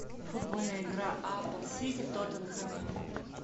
футбольная игра апл сити тоттенхэм